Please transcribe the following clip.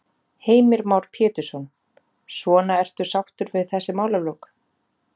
Heimir Már Pétursson: Svona ertu sáttur við þessi málalok?